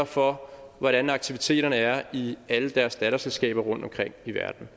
for hvordan aktiviteterne er i alle deres datterselskaber rundtomkring i verden